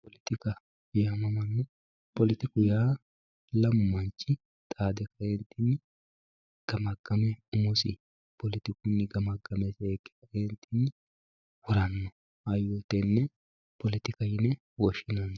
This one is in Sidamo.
Poletikka, poletiku yaa lamu manchi xaade kaentinni gamagame umosi poletikunni gamagame harano hayyo tene poletika yine woshshineemmo.